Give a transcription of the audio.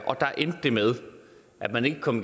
og der endte det med at man ikke kom